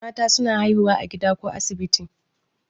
Mata suna haihuwa a gida ko asibiti